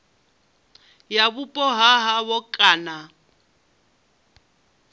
ya vhupo ha havho kana